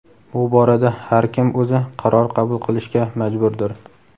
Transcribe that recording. Bu borada har kim o‘zi qaror qabul qilishga majburdir.